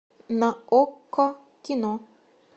на окко кино